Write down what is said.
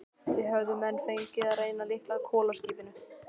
Það höfðu menn fengið að reyna á litla kolaskipinu